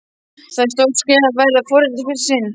Það er stórt skref að verða foreldrar í fyrsta sinn.